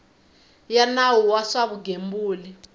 ya nawu wa swa vugembuli